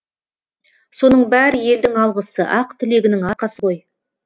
соның бәрі елдің алғысы ақ тілегінің арқасы ғой